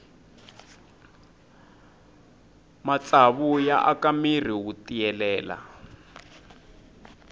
matsavu ya aka mirhi wu tiyelela